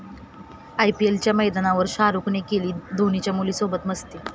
आयपीएलच्या मैदानावर शाहरुखने केली धोनीच्या मुलीसोबत मस्ती!